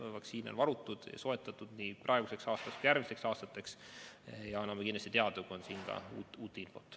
Vaktsiine on varutud, soetatud nii tänavuseks aastaks kui järgmisteks aastateks ja anname kindlasti teada, kui on uut infot.